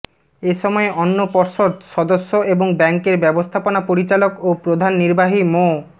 এসময় অন্য পর্ষদ সদস্য এবং ব্যাংকের ব্যবস্থাপনা পরিচালক ও প্রধান নির্বাহী মো